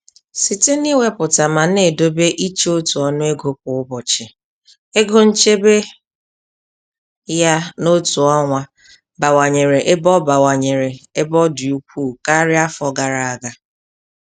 Site n'iwepụta ma na-edobe iche otu ọnụ ego kwa ụbọchị, ego nchebe ya n'otu ọnwa bawanyere ebe ọ bawanyere ebe ọ dị ukwuu karịa afọ gara aga.